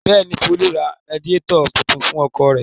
Bẹ́ẹ̀ ni, Folú ra radiátọ̀ tuntun fún ọkọ̀ rẹ̀.